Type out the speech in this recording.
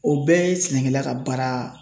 O bɛɛ ye sɛnɛkɛla ka baara